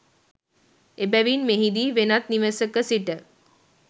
එබැවින් මෙහිදී වෙනත් නිවසක සිට